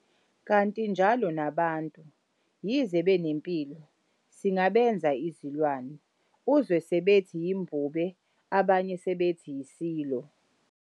"Kanti njalo nabantu, yize benempilo, singabenza izilwane, uzwe sebethi yimbube abanye sebethi yisilo."